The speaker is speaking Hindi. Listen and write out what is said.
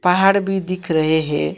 पहाड़ भी दिख रहे हैं।